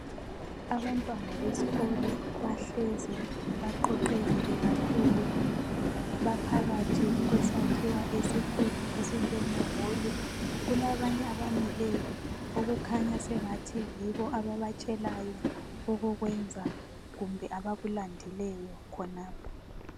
Abantwana besikolo bahlezi baqoqekile kakhulu baphakathi kwesakhiwo esikhulu esinjengeholu. Kulabanye abamileyo okukhanya sengathi yibo ababatshelayo okokwenza kumbe abakulandileyo khonapho.